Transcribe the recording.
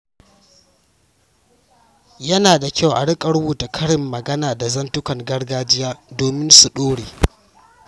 Yana da kyau a riƙa rubuta karin magana da zantukan gargajiya domin su dore.